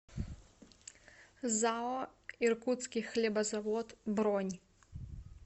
зао иркутский хлебозавод бронь